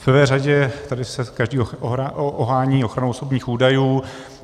V prvé řadě tady se každý ohání ochranou osobních údajů.